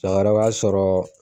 b'a sɔrɔ